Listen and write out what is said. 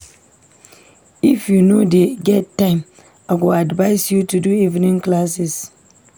If you no dey get time, I go advice you to do evening classes.